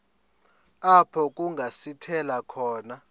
apho kungasithela khona